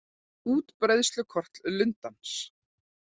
Útbreiðslukort lundans.